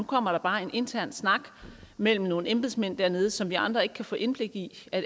kommer der bare en intern snak mellem nogle embedsmænd dernede som vi andre ikke kan få indblik i